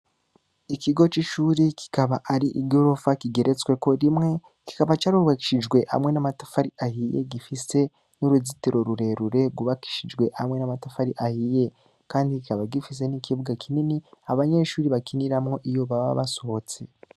Ikigo c’ishuri, kikaba ari igorofa kigeretsweko rimwe, kikaba carubakishijwe hamwe n’amatafari ahiye, gifise n’uruzitiro rurerure, rwubakishijwe hamwe n’amatafari ahiye; kandi kikaba gifise n’ikibuga kinini, abanyeshuri bakiniramwo iyo baba basohotse.